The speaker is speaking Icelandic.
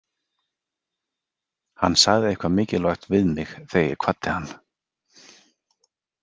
Hann sagði eitthvað mikilvægt við mig þegar ég kvaddi hann.